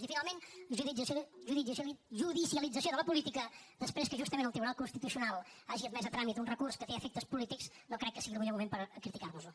i finalment judicialització de la política després que justament el tribunal constitucional hagi admès a tràmit un recurs que té efectes polítics no crec que sigui el millor moment per criticar nos ho